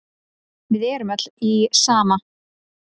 Við erum öll í sama